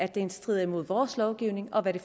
den strider imod vores lovgivning og hvilke